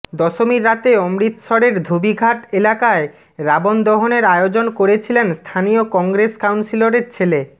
দশমীর রাতে অমৃতসরের ধোবিঘাট এলাকায় রাবণ দহনের আয়োজন করেছিলেন স্থানীয় কংগ্রেস কাউন্সিলরের ছেলে